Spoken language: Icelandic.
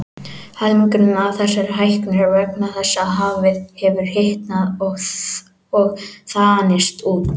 Helmingur af þessari hækkun er vegna þess að hafið hefur hitnað og þanist út.